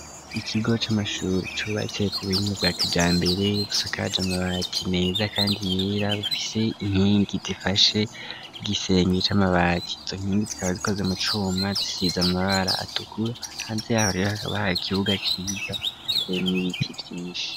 Ikigo c'amashure cubatse k'ubuhinga bwa kijambere, ubusakaje amabati neza kandi yera bufise inkingi zifashe igisenge c'amabati izo nkingi zikaba zikoze mu cuma zisize amabara atukura hanze yaho hakabaho ikibuga ciza kirimwo ibiti vyinshi.